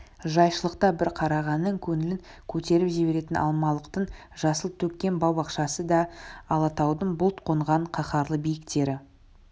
жайшылықта бір қарағаннан көңілін көтеріп жіберетін алмалықтың жасыл төккен бау-бақшасы да алатаудың бұлт қонған қаһарлы биіктері